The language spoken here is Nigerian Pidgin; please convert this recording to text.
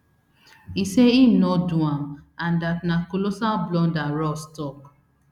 e say im no do am and dat na colossal blunder ross tok